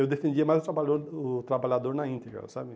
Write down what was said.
Eu defendia mais o trabalhador o trabalhador na íntegra, sabe?